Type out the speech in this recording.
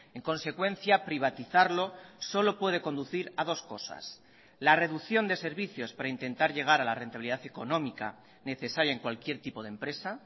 en consecuencia privatizarlo solo puede conducir a dos cosas la reducción de servicios para intentar llegar a la rentabilidad económica necesaria en cualquier tipo de empresa